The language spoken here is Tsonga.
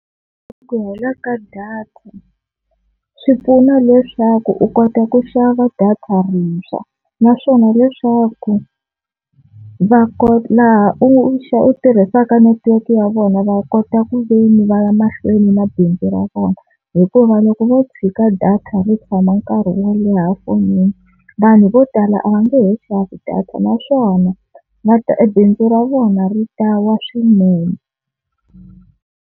Ku hela ka data swi pfuna leswaku u kota ku xava data rintshwa naswona leswaku va ko laha u u tirhisaka network ya vona va kota ku veni va ya mahlweni na bindzu ra vona, hikuva loko vo u tshika data ri tshama nkarhi wo leha fonini vanhu vo tala a va nge he xavi data naswona va ta ebindzu ra vona ri ta wa swinene.